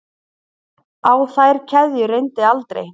Á þær keðjur reyndi aldrei.